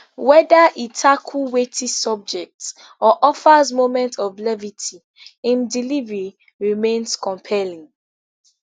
weda e dey tackle weighty subjects or offers moments of levity im delivery remains compelling